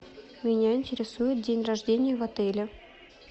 меня интересует день рождения в отеле